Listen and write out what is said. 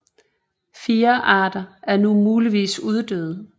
Fire arter er nu muligvis uddøde